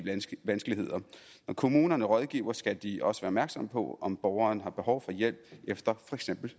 vanskeligheder når kommunerne rådgiver skal de også være opmærksomme på om borgeren har behov for hjælp efter for eksempel